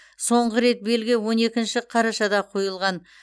соңғы рет белгі он екінші қарашада қойылған